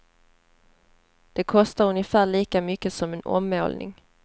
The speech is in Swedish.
Det kostar ungefär lika mycket som en ommålning.